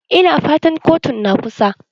Ina fatan kotun na kusa?